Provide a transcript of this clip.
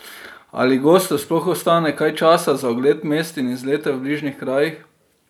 Ali gostu sploh ostane kaj časa za ogled mest in izlete v bližnjih krajih?